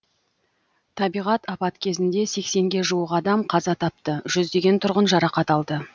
табиғат апат кезінде сексенге жуық адам қаза тапты жүздеген тұрғын жарақат алды